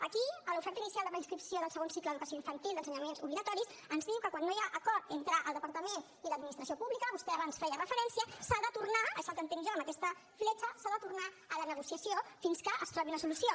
aquí a l’oferta inicial de preinscripció del segon cicle d’educació infantil d’ensenyaments obligatoris ens diu que quan no hi ha acord entre el departament i l’administració pública vostè abans hi feia referència s’ha de tornar és el que entenc jo amb aquesta fletxa a la negociació fins que es trobi una solució